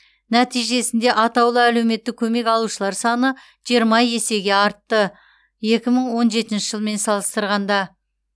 нәтижесінде атаулы әлеуметтік көмек алушылар саны жиырма есеге артты екі мың он жетінші жылмен салыстырғанда